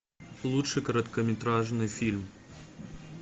лучший короткометражный фильм